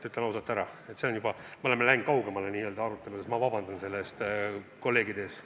Oleme siin oma arutelus kaugemale läinud ja ma vabandan selle eest kolleegide ees.